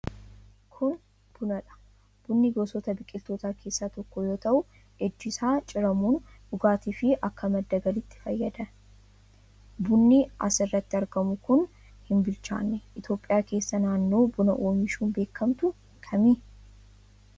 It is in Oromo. Kun buna dha. Bunni gosoota biqiltootaa keessaa tokko yoo ta'u ijji isaa ciramuun dhugaatii fi akka madda galiitti fayyada. Bunni as irratti argamu kun hin bilchaanne. Itoophiyaa keessaa naannoon buna oomishuun beekamtu kami?